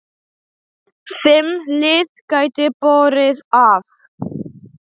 Fimm lið gætu borið af.